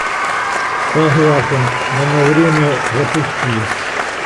согласен но на время запусти